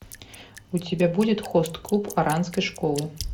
у тебя будет хост клуб оранской школы